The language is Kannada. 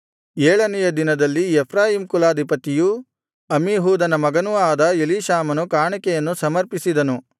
ಏಳನೆಯ ದಿನದಲ್ಲಿ ಎಫ್ರಾಯೀಮ್ ಕುಲಾಧಿಪತಿಯೂ ಅಮ್ಮೀಹೂದನ ಮಗನೂ ಆದ ಎಲೀಷಾಮನು ಕಾಣಿಕೆಯನ್ನು ಸಮರ್ಪಿಸಿದನು